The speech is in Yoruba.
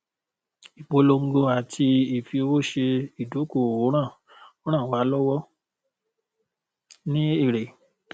ìpolongo àti ìfiowó ṣe ìdókòòwò ran ran wa lọwọ ní èrè